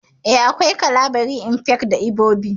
Eh, akwai Kalabari, Efik, da Ibibio